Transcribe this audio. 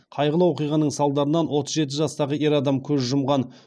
қайғылы оқиғаның салдарынан отыз жеті жастағы ер адам көз жұмған